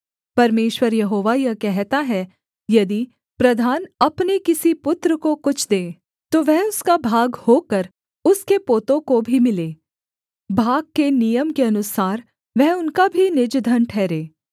परमेश्वर यहोवा यह कहता है यदि प्रधान अपने किसी पुत्र को कुछ दे तो वह उसका भाग होकर उसके पोतों को भी मिले भाग के नियम के अनुसार वह उनका भी निज धन ठहरे